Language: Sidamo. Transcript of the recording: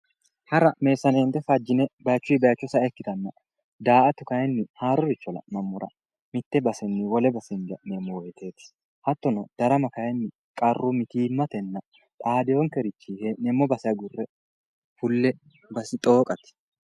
Hara meessaneetto fajjine bayichunni bayicho sa'a ikkittanno, daa"ata kayiinni haaroricho la'nammora mitte basenni wole base hinge ha'neemmo woyteti hattono darama kayinni qarru mitimatenna xaadeonkerichinni hee'neemmo base agurre fulle xooqate.